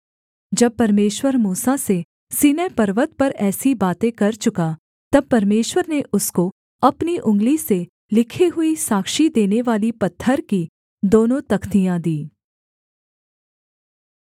जब परमेश्वर मूसा से सीनै पर्वत पर ऐसी बातें कर चुका तब परमेश्वर ने उसको अपनी उँगली से लिखी हुई साक्षी देनेवाली पत्थर की दोनों तख्तियाँ दीं